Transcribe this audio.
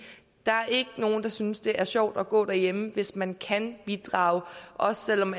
der er ikke nogen der synes det er sjovt at gå derhjemme hvis man kan bidrage også selv om